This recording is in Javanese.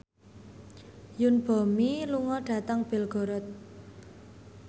Yoon Bomi lunga dhateng Belgorod